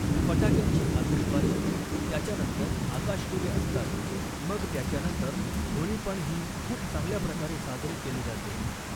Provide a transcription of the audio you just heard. फटाक्यांची आतषबाजी त्याच्यानंतर आकाशदिवे असतात मग त्याच्यानंतर होळी पण ही खूप चांगल्या प्रकारे साजरी केली जाते